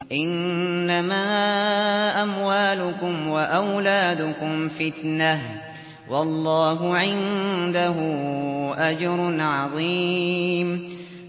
إِنَّمَا أَمْوَالُكُمْ وَأَوْلَادُكُمْ فِتْنَةٌ ۚ وَاللَّهُ عِندَهُ أَجْرٌ عَظِيمٌ